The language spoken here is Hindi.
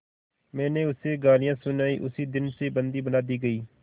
मैंने उसे गालियाँ सुनाई उसी दिन से बंदी बना दी गई